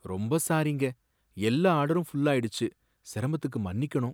ரொம்ப சாரிங்க, எல்லா ஆர்டரும் ஃபுல் ஆயிடுச்சு, சிரமத்துக்கு மன்னிக்கணும்.